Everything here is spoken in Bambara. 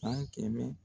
San kɛmɛ